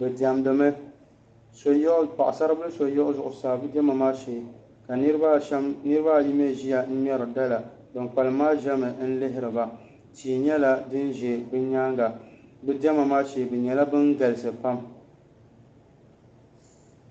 bɛ diɛmdi mi paɣ'saribila so yiɣi zuɣusaa bɛ diɛma maa shee ka niriba ayi mii ʒia n-ŋmeri dala ban kpalim maa ʒemi n-lihiri ba tia nyɛla din ʒe bɛ nyaaŋa bɛ diɛma maa shee bɛ nyɛla ban galisi pam